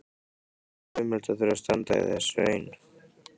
Það var ömurlegt að þurfa að standa í þessu ein.